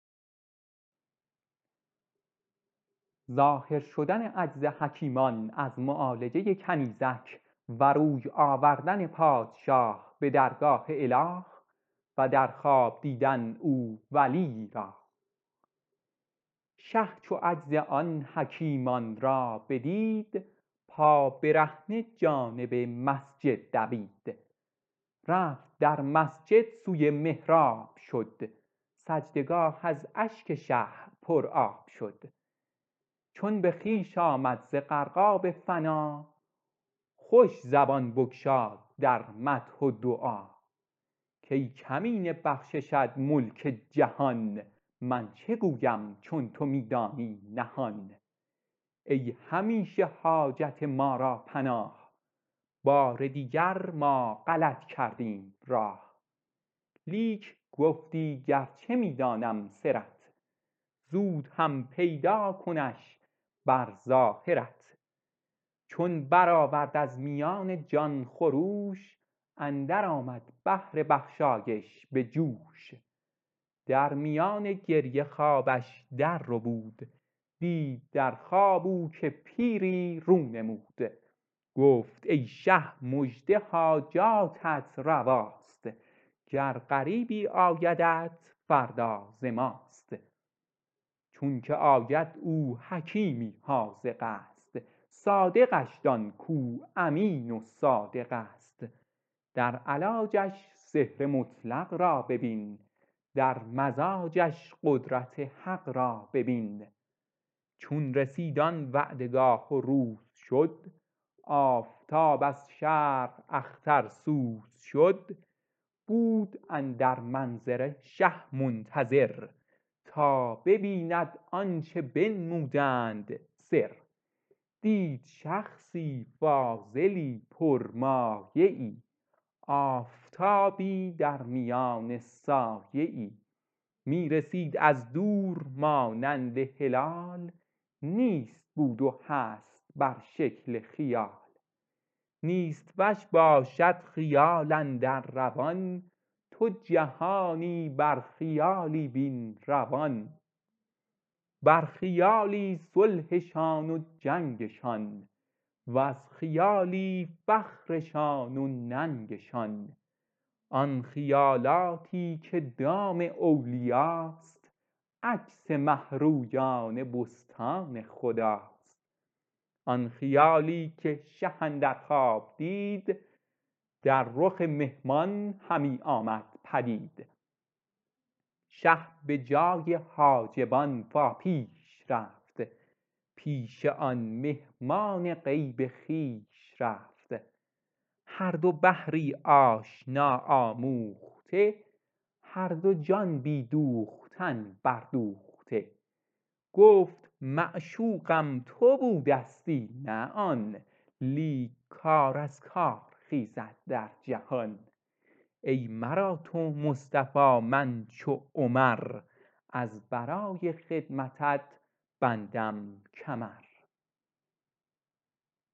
شه چو عجز آن حکیمان را بدید پابرهنه جانب مسجد دوید رفت در مسجد سوی محراب شد سجده گاه از اشک شه پر آب شد چون به خویش آمد ز غرقاب فنا خوش زبان بگشاد در مدح و دعا کای کمینه بخششت ملک جهان من چه گویم چون تو می دانی نهان ای همیشه حاجت ما را پناه بار دیگر ما غلط کردیم راه لیک گفتی گرچه می دانم سرت زود هم پیدا کنش بر ظاهرت چون برآورد از میان جان خروش اندر آمد بحر بخشایش به جوش در میان گریه خوابش در ربود دید در خواب او که پیری رو نمود گفت ای شه مژده حاجاتت رواست گر غریبی آیدت فردا ز ماست چونکه آید او حکیمی حاذقست صادقش دان کو امین و صادقست در علاجش سحر مطلق را ببین در مزاجش قدرت حق را ببین چون رسید آن وعده گاه و روز شد آفتاب از شرق اخترسوز شد بود اندر منظره شه منتظر تا ببیند آنچه بنمودند سر دید شخصی کاملی پر مایه ای آفتابی درمیان سایه ای می رسید از دور مانند هلال نیست بود و هست بر شکل خیال نیست وش باشد خیال اندر روان تو جهانی بر خیالی بین روان بر خیالی صلحشان و جنگشان وز خیالی فخرشان و ننگشان آن خیالاتی که دام اولیاست عکس مه رویان بستان خداست آن خیالی که شه اندر خواب دید در رخ مهمان همی آمد پدید شه به جای حاجبان فا پیش رفت پیش آن مهمان غیب خویش رفت هر دو بحری آشنا آموخته هر دو جان بی دوختن بر دوخته گفت معشوقم تو بودستی نه آن لیک کار از کار خیزد در جهان ای مرا تو مصطفی من چو عمر از برای خدمتت بندم کمر